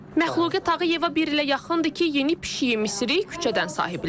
Məxluqə Tağıyeva bir ilə yaxındır ki, yeni pişiyi Misiri küçədən sahiblənib.